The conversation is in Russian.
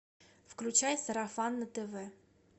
включай сарафан на тв